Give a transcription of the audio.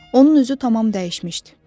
Onun üzü tamam dəyişmişdi.